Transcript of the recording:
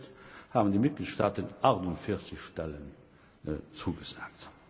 Bis jetzt haben die Mitgliedstaaten 48 Stellen zugesagt.